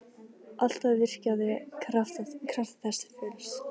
Alltaf virkjað krafta þess til fulls.